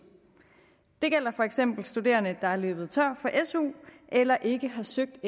det gælder for eksempel studerende der er løbet tør for su eller ikke har søgt